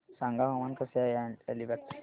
सांगा हवामान कसे आहे अलिबाग चे